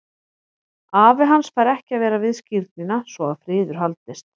Afi hans fær ekki að vera við skírnina svo að friður haldist.